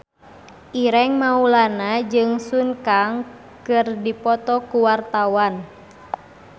Ireng Maulana jeung Sun Kang keur dipoto ku wartawan